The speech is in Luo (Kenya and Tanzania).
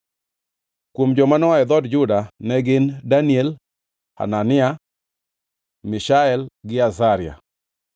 Kuom joma noa e dhood Juda ne gin: Daniel, Hanania, Mishael gi Azaria.